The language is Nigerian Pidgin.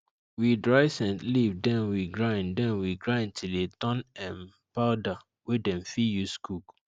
we dry scent leaf then we grind then we grind till e turn um powder wey dem fir use cook